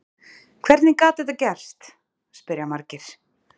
Hvernig gat þetta gerst? spyrja margir.